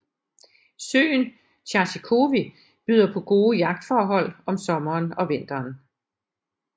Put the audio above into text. Søen Charzykowy byder på gode yachtforhold om sommeren og vinteren